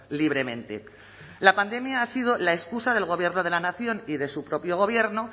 libremente la pandemia ha sido la excusa del gobierno de la nación y de su propio gobierno